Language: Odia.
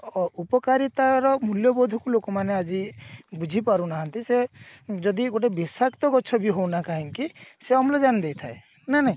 ଉପକାରିତା ର ମୂଲ୍ଯବୋଧ କୁ ଲୋକମାନେ ଆଜି ବୁଝି ପାରୁନାହାନ୍ତି ସେ ଯଦି ଗୋଟେ ବିଷାକ୍ତ ଗଛ ବି ହଉ ନା କାହିଁକି ସେ ଅମ୍ଳଜାନ ଦେଇ ଥାଏ ନା ନାଇଁ